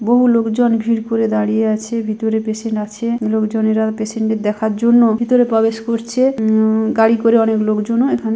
বহু লোকজন ভিড় করে দাঁড়িয়ে আছে ভিতরে পেসেন্ট আছে লোকজনেরা পেশেন্ট কে দেখার জন্য ভিতরে প্রবেশ করছে উমম গাড়ি করে অনেক লোকজনও এখানে--